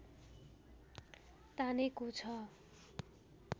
तानेको छ